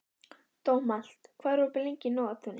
Dómald, hvað er opið lengi í Nóatúni?